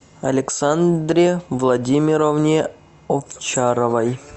александре владимировне овчаровой